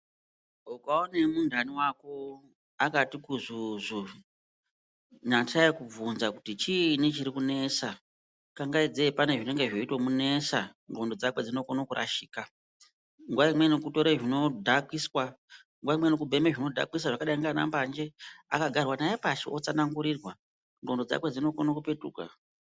Ukaone muntani wako akati kuzuzu nasai kubvunza kuti chiini chiri kunesa kangaidzei pane zvinenge zveito munesa, ndxondo dzakwe dzinokone kurashika, nguwa imweni kutore zvinokiswa , nguwa imweni kutore zvinodhakwisa zvakadai ngana mbanje. Akagarwa naye pashi otsana ngurirwa ndxondo dzakwe dzinokone kupetuka.